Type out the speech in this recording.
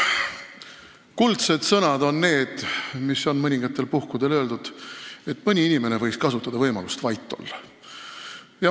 Kuldsed sõnad on need, mida on mõningatel puhkudel öeldud, et mõni inimene võiks kasutada võimalust vait olla.